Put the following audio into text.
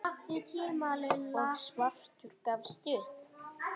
og svartur gafst upp.